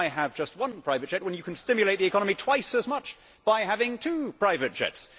Why have just one private jet when you can stimulate the economy twice as much by having two private jets?